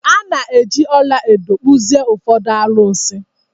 A na-eji ọla edo kpụzie ụfọdụ arụsị.